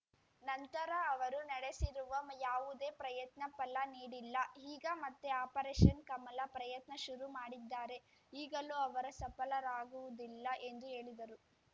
ನಂತರ ಅವರು ನಡೆಸಿರುವ ಯಾವುದೇ ಪ್ರಯತ್ನ ಫಲ ನೀಡಿಲ್ಲ ಈಗ ಮತ್ತೆ ಆಪರೇಷನ್‌ ಕಮಲ ಪ್ರಯತ್ನ ಶುರು ಮಾಡಿದ್ದಾರೆ ಈಗಲೂ ಅವರ ಸಫಲರಾಗುವುದಿಲ್ಲ ಎಂದು ಹೇಳಿದರು